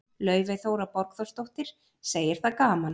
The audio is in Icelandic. Laufey Þóra Borgþórsdóttir, segir það gaman.